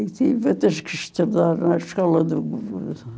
E tives que estudar na escola do governo.